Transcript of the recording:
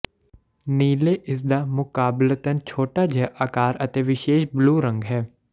ਨੀਲੇ ਇਸਦਾ ਮੁਕਾਬਲਤਨ ਛੋਟਾ ਜਿਹਾ ਆਕਾਰ ਅਤੇ ਵਿਸ਼ੇਸ਼ ਬਲੂ ਰੰਗ ਹੈ